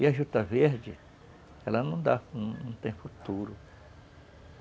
E a juta verde, ela não dá, tem futuro.